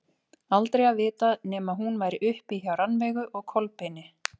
Aldrei að vita nema hún væri uppi hjá Rannveigu og Kolbeini.